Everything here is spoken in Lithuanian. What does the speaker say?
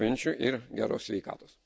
Ačiū, gerų švenčių ir geros sveikatos.